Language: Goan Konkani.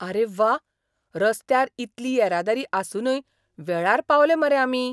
आरे व्वा, रस्त्यार इतली येरादारी आसूनय वेळार पावले मरे आमी!